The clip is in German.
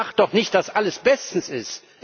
Ich sage doch nicht, dass alles bestens ist.